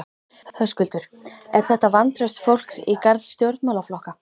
Höskuldur: Er þetta vantraust fólks í garð stjórnmálaflokka?